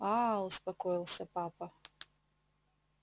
а-а успокоился папа